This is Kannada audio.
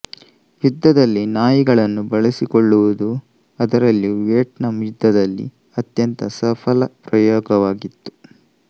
ಯುದ್ಧದಲ್ಲಿ ನಾಯಿಗಳನ್ನು ಬಳಸಿಕೊಳ್ಳುವುದೂ ಅದರಲ್ಲಿಯೂ ವಿಯೇಟ್ನಾಮ್ ಯುದ್ಧದಲ್ಲಿ ಅತ್ಯಂತ ಸಫಲ ಪ್ರಯೋಗವಾಗಿತ್ತು